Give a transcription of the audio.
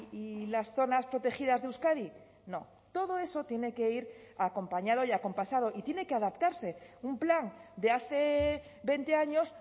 y las zonas protegidas de euskadi no todo eso tiene que ir acompañado y acompasado y tiene que adaptarse un plan de hace veinte años